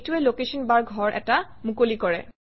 এইটোৱে location bar ঘৰ এটা মুকলি কৰে